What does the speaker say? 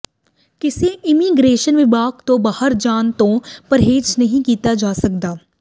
ਕਿਸੇ ਇਮੀਗ੍ਰੇਸ਼ਨ ਵਿਭਾਗ ਤੋਂ ਬਾਹਰ ਜਾਣ ਤੋਂ ਪਰਹੇਜ਼ ਨਹੀਂ ਕੀਤਾ ਜਾ ਸਕਦਾ